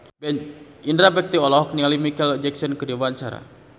Indra Bekti olohok ningali Micheal Jackson keur diwawancara